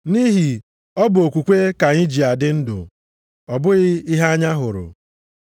Nʼihi ọ bụ okwukwe ka anyị ji adị ndụ ọ bụghị ihe anya hụrụ.